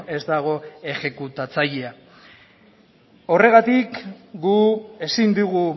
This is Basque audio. ez dago ejekutatzailea horregatik gu ezin dugu